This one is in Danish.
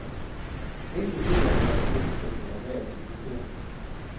Enkelte bøger har været gennemtænkte og værd at diskutere.